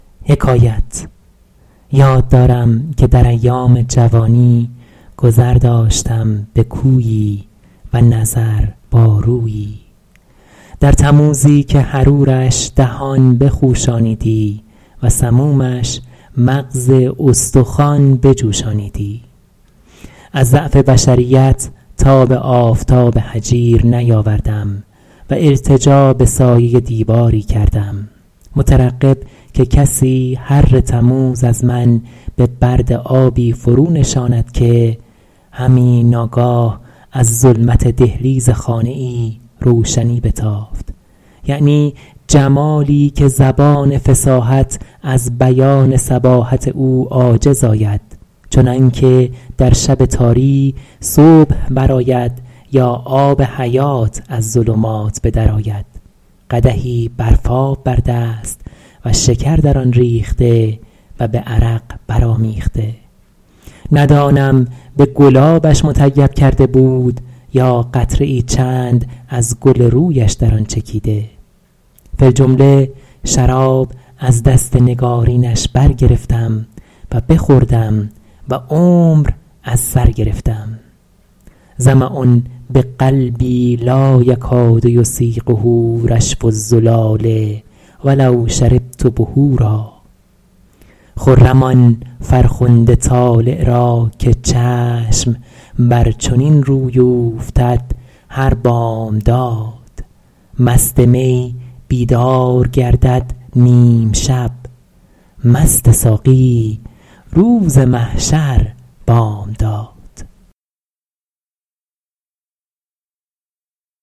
یاد دارم که در ایام جوانی گذر داشتم به کویی و نظر با رویی در تموزی که حرورش دهان بخوشانیدی و سمومش مغز استخوان بجوشانیدی از ضعف بشریت تاب آفتاب هجیر نیاوردم و التجا به سایه دیواری کردم مترقب که کسی حر تموز از من به برد آبی فرو نشاند که همی ناگاه از ظلمت دهلیز خانه ای روشنی بتافت یعنی جمالی که زبان فصاحت از بیان صباحت او عاجز آید چنان که در شب تاری صبح بر آید یا آب حیات از ظلمات به در آید قدحی برفاب بر دست و شکر در آن ریخته و به عرق برآمیخته ندانم به گلابش مطیب کرده بود یا قطره ای چند از گل رویش در آن چکیده فی الجمله شراب از دست نگارینش برگرفتم و بخوردم و عمر از سر گرفتم ظمأ بقلبی لا یکاد یسیغه رشف الزلال ولو شربت بحورا خرم آن فرخنده طالع را که چشم بر چنین روی اوفتد هر بامداد مست می بیدار گردد نیم شب مست ساقی روز محشر بامداد